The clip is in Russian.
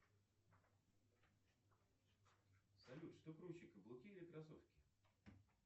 салют что круче каблуки или кроссовки